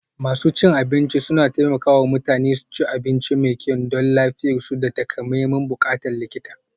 Masu cin abinci suna taimaka wa mutane su ci abinci mai kyau don lafiyarsu da takamaiman buƙatun likita.